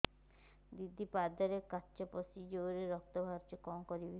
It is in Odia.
ଦିଦି ପାଦରେ କାଚ ପଶି ଜୋରରେ ରକ୍ତ ବାହାରୁଛି କଣ କରିଵି